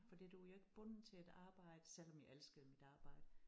Fordi du jo ikke bunden til et arbejde selvom jeg elskede mit arbejde